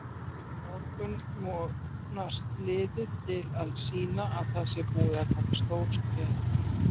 Á morgun vonast liðið til að sýna að það sé búið að taka stór skref.